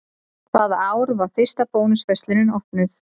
Hvaða ár var fyrsta Bónus verslunin opnuð?